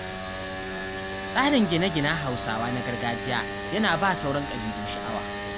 Tsarin gine-ginen Hausawa na gargajiya yana ba wa sauran ƙabilu sha'awa.